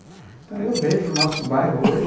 Então eu vejo o nosso bairro hoje